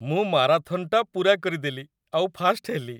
ମୁଁ ମାରାଥନ୍‌ଟା ପୂରା କରିଦେଲି ଆଉ ଫାର୍ଷ୍ଟ ହେଲି ।